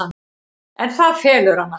En það felur hana.